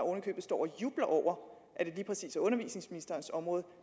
står og jubler over at det lige præcis er undervisningsministerens område